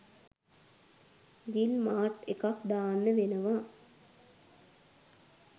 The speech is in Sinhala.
ජිල් මාට් එකක් දාන්න වෙනවා.